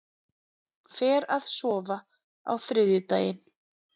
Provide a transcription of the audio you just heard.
Fer að sofa á þriðjudaginn